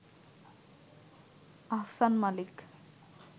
Ahsan Malik